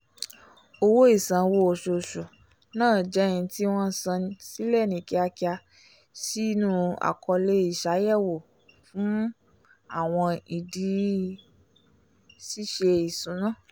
owó isanwo oṣooṣù náà jẹ́ n tí wọn sàn silẹ ni kíákíá sínú àkọọlẹ iṣayẹwo fún àwọn ìdí ṣiṣe ìṣúná